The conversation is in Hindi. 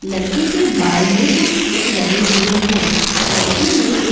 लड़के के बाल में कुछ क्लिप लगे हुए हैं। लड़के ने एक --